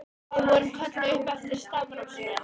Við vorum kölluð upp eftir stafrófsröð.